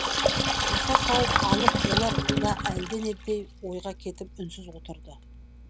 таса тауып алып олар да әлденендей ойға кетіп үнсіз отырды